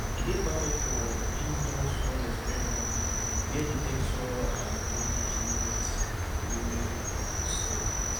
e dey perfect for indoor soil experiment where di texture and drainage need to remain steady